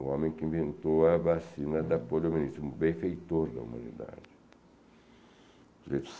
O homem que inventou a vacina da poliomielite, um benfeitor da humanidade.